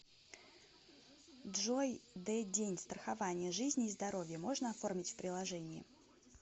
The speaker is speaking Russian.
джой д день страхование жизни и здоровья можно оформить в приложении